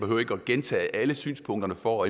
gentage alle synspunkter for